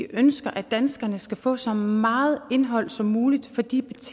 ønsker at danskerne skal få så meget indhold som muligt for de